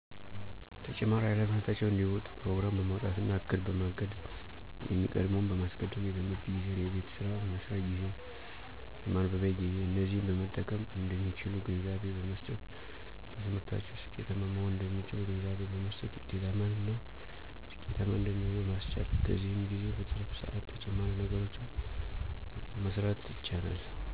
ተጨማሪ ሃላፊነታቸውን እንዲወጡ ፕሮግራም በማዉጣትና እቅድ፣ በማቀድየሚቀድመዉን በማስቀደም የትምህርት ጊዜን የቤትሥራ የመስሪያ ጊዜ፣ የማንበቢያ ጊዜ፣ እነዚህን በመጠቀምእንደሚችሉ ግንዛቤ በመ ሥጠት በትምህርታቸዉስኬታማ መሆን እንደሚችሉ ግንዛቤ በመሥጠት ዉጤታማ እና ስኬታማ እንደሚሆኑ ማሥቻል። በዚህም ጊዜ በትርፍ ስዓት ተጨማሪ ነገሮችን መሥራት ይቻላል።